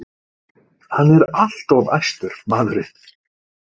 Hann er alltof æstur, maðurinn.